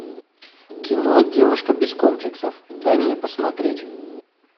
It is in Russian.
кино девушка без комплексов дай мне посмотреть